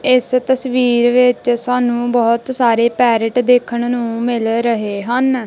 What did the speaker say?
ਇੱਸ ਤਸਵੀਰ ਵਿੱਚ ਸਾਨੂੰ ਬਹੁਤ ਸਾਰੇ ਪੈਰੱਟ ਦੇਖਣ ਨੂੰ ਮਿਲ ਰਹੇ ਹਨ।